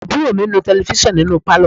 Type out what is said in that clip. Àbúrò mi ń nu Tẹlifísàn nínú pálọ̀